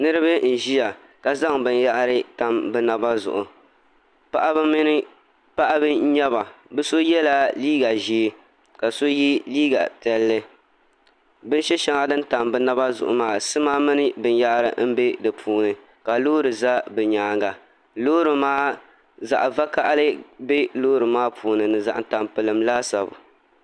Niraba n ʒiya ka zaŋ binyahri tam bi naba zuɣu paɣaba n nyɛba bi so yɛla liiga ʒiɛ ka so yɛ liiga piɛlli bin shɛ shɛli din tam bi naba zuɣu maa sima mini binyahari n bɛ di puuni ka loori ʒɛ bi nyaanga loori maa zaɣ vakaɣali bɛ loori maa puuni ni zaɣ tampilim laasabu